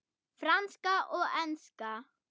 Franska og enska.